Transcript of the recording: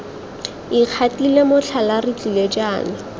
ikgatile motlhala re tlile jaana